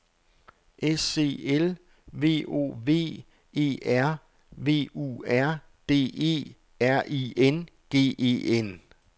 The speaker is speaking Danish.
S E L V O V E R V U R D E R I N G E N